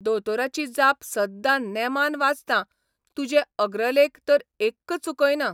दोतोराची जाप सद्दां नेमान वाचतां तुजे अग्रलेख तर एक्क चुकयना.